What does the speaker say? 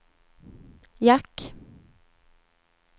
jack